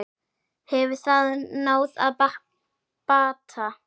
Hefur það náð bata?